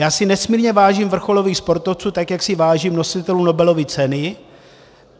Já si nesmírně vážím vrcholových sportovců, tak jak si vážím nositelů Nobelovy ceny.